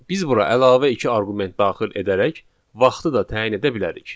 Biz bura əlavə iki arqument daxil edərək vaxtı da təyin edə bilərik.